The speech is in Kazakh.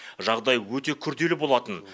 жағдай өте күрделі болатын